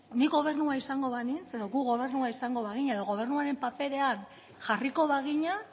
ni gobernua izango banintz edo gu gobernua izango bagina edo gobernuaren paperean jarriko bagina